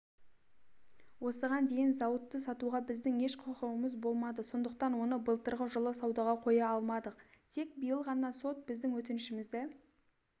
осыған дейін зауытты сатуға біздің еш құқығымыз болмады сондықтан оны былтырғы жылы саудаға қоя алмадық тек биыл ғана сот біздің өтінішімізді